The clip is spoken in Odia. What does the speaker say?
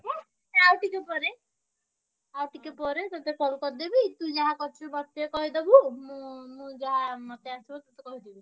ହେ ଆଉଟିକେ ପରେ ଆଉଟିକେ ପରେ ତତେ call କରିଦେବି ତୁ ଯାହା କରିଛୁ ମତେ ଟିକେ କହିଦବୁ ମୁଁ ମୁଁ ଯାହା ମତେ ଆସିବ ତତେ କହିଦେବି।